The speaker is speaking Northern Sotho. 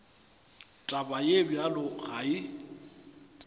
taba ye bjalo ga e